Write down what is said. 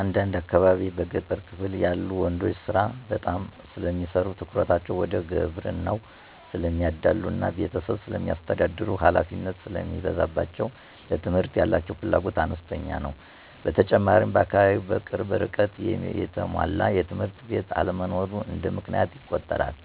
እንደ አካባቢየ በገጠሩ ክፍል ያሉ ወንዶች ስራ በጣም ስለሚሰሩ ትኩረታቸው ወደ ግብርናው ስለሚያዳሉ እና ቤተሰብ ስለሚያስተዳድሩ ሀላፊነት ስለሚበዛባቸው ለትምህርት ያላቸው ፍላጎት አነስተኛ ነው። በተጨማሪም በአካባቢው በቅርብ ርቀት የተሟላ ትምህርት ቤት አለመኖርም እንደ ምክንያት ይቆጠራል።